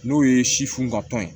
N'o ye si funu ka tɔn ye